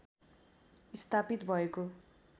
स्थापित भएको